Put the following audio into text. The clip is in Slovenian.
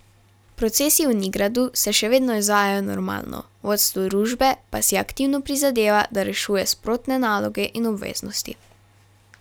Procesi v Nigradu se še vedno izvajajo normalno, vodstvo družbe pa si aktivno prizadeva, da rešuje sprotne naloge in obveznosti.